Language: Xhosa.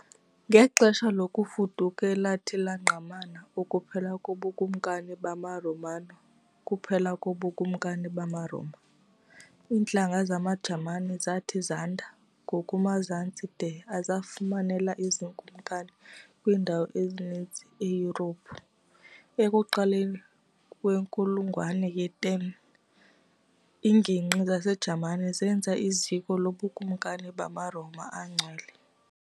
Ngexesha lokuFuduka elathi langqamana ukuphela kobuKumkani bamaRomanokuphela kobuKumkani bamaRoma, iintlanga zamaJamani zathi zanda ngakumazantsi de azifumanela izikumkani kwiindawo ezininzi eYurophu. Ekuqaleni kwenkulungwane ye-10, iingingqi zaseJamani zenza iziko lobukumkani bamaRoma aNgcwele.